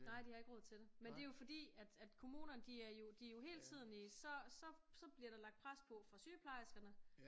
Nej de har ikke råd til det men det jo fordi at at kommunerne de er jo hele tiden i så så bliver der lagt pres på fra sygeplejerskerne